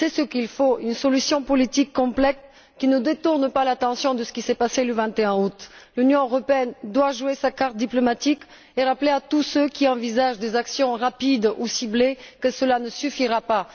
Il faut une solution politique complète qui ne détourne pas l'attention de ce qui s'est passé le 21 août. L'Union européenne doit jouer sa carte diplomatique et rappeler à tous ceux qui envisagent des actions rapides ou ciblées qu'elles ne suffiront pas.